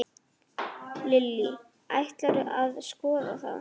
Lillý: Ætlarðu að skoða þá?